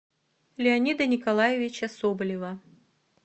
леонида николаевича соболева